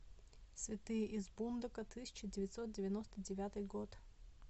святые из бундока тысяча девятьсот девяносто девятый год